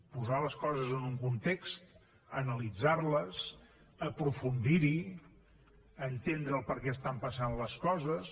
posar les coses en un context analitzar les aprofundir hi entendre per què estan passant les coses